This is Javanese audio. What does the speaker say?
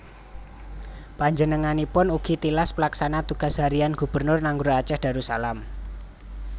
Panjenenganipun ugi tilas Pelaksana Tugas Harian Gubernur Nanggroe Aceh Darussalam